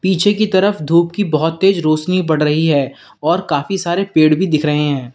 पीछे की तरफ धूप की बहोत तेज रोशनी बढ़ रही है और काफी सारे पेड़ भी दिख रहे हैं।